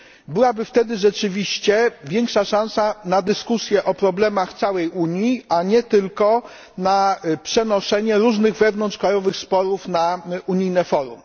Byłaby wtedy rzeczywiście większa szansa na dyskusję o problemach całej Unii, a nie tylko na przenoszenie różnych wewnątrzkrajowych sporów na unijne forum.